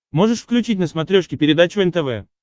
можешь включить на смотрешке передачу нтв